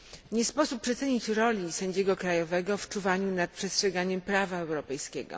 Nie sposób przecenić roli sędziego krajowego w czuwaniu nad przestrzeganiem prawa europejskiego.